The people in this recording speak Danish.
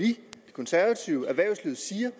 konservative og erhvervslivet siger